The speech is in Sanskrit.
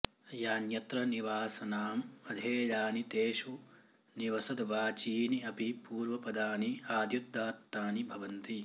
यान्यत्र निवासनाम् अधेयानि तेषु निवसद्वाचीनि अपि पूर्वपदानि आद्युदात्तानि भवन्ति